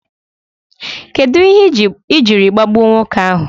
Kedụ ihe ị jiri gbagbuo nwoke ahu?